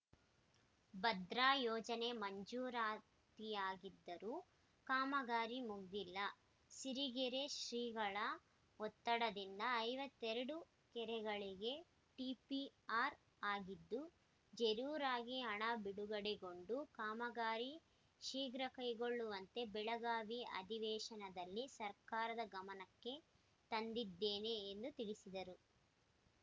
ಭದ್ರಾ ಯೋಜನೆ ಮಂಜೂರಾತಿಯಾಗಿದ್ದರೂ ಕಾಮಗಾರಿ ಮುಗಿದಿಲ್ಲ ಸಿರಿಗೆರೆ ಶ್ರೀಗಳ ಒತ್ತಡದಿಂದ ಐವತ್ತೆರಡು ಕೆರೆಗಳಿಗೆ ಟಿಪಿಆರ್‌ ಆಗಿದ್ದು ಜರೂರಾಗಿ ಹಣ ಬಿಡುಗಡೆಗೊಂಡು ಕಾಮಗಾರಿ ಶೀಘ್ರ ಕೈಗೊಳ್ಳುವಂತೆ ಬೆಳಗಾವಿ ಅಧಿವೇಶನದಲ್ಲಿ ಸರ್ಕಾರದ ಗಮನಕ್ಕೆ ತಂದಿದ್ದೇನೆ ಎಂದು ತಿಳಿಸಿದರು